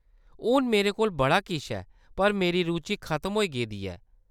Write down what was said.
हून, मेरे कोल बड़ा किश ऐ पर मेरी रुचि खतम होई गेदी ऐ।